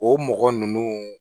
O mɔgɔ ninnu